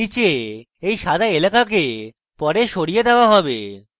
নীচে এই সাদা এলাকাকে পরে সরিয়ে দেওয়া হবে